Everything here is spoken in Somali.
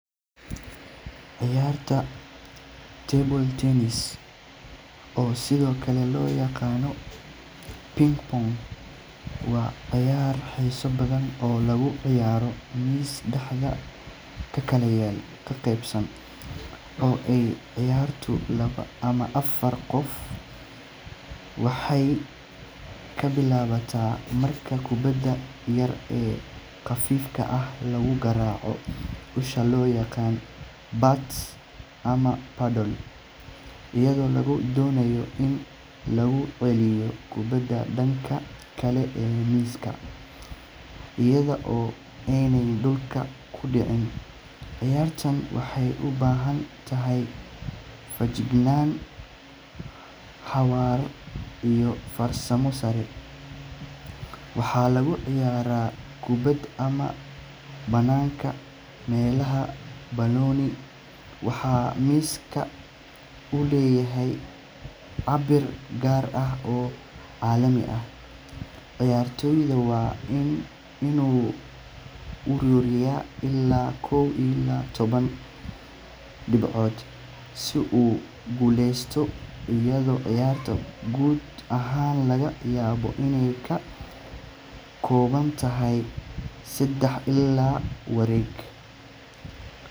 Ciyaarta table tennis, oo sidoo kale loo yaqaan ping pong, waa cayaar xiiso badan oo lagu ciyaaro miis dhexda ka kala qaybsan oo ay ciyaarto labo ama afar qof. Ciyaartu waxay ka bilaabataa marka kubbadda yar ee khafiifka ah lagu garaaco usha loo yaqaan bat ama paddle, iyadoo lagu doonayo in lagu celiyo kubbadda dhanka kale ee miiska iyada oo aanay dhulka ku dhicin. Ciyaartan waxay u baahan tahay feejignaan, xawaare, iyo farsamo sare. Waxaa lagu ciyaaraa gudaha ama banaanka meelaha daboolan, waxaana miiska uu leeyahay cabbir gaar ah oo caalami ah. Ciyaartoygu waa inuu ururiyaa ilaa kow iyo toban dhibcood si uu u guuleysto, iyadoo ciyaarta guud ahaan laga yaabo inay ka kooban tahay seddex ilaa shan wareeg.